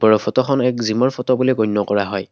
আৰু ফটোখন এক জিমৰ ফটো বুলি গণ্য কৰা হয়।